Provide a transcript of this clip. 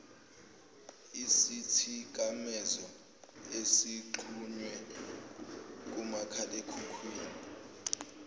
isithikamezo ezixhunywe kumakhalekhukhwini